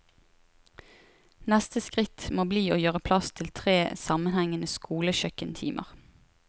Neste skritt må bli å gjøre plass til tre sammenhengende skolekjøkkentimer.